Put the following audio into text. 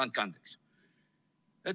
Andke andeks!